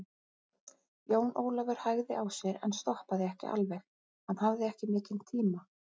Jón Ólafur hægði á sér en stoppaði ekki alveg, hann hafði ekki mikinn tíma.